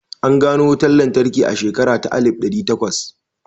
An gano wutan lantarki a shekara ta alif ɗari takwas